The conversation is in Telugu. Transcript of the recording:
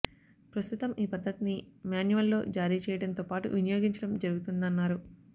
ప్రస్తుతం ఈ పద్ధతిని మాన్యువల్లో జారీ చేయడంతో పాటు వినియోగించడం జరుగుతుందన్నారు